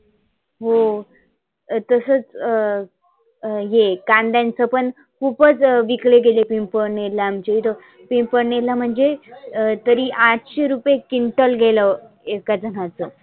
हो तसचं अं हे कांद्यांच पण खुपच विकले गेले पिंपळनेरला आमच्या इथ. पिंपळनेरला म्हणजे तरी आठशे रुपए क्विंटल गेलं. एका जनाच.